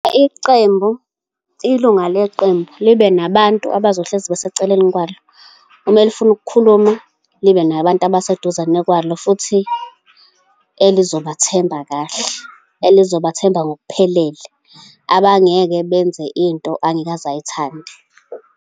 Iqembu, ilunga leqembu, libe nabantu abazohlezi beseceleni kwalo. Uma lifuna ukukhuluma, libe nabantu abaseduzane kwalo futhi elizobathemba kahle, elizobathemba ngokuphelele, abangeke benze into angeke aze ayithande.